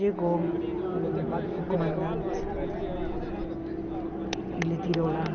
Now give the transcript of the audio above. Chegou o comandante e lhe tirou lá.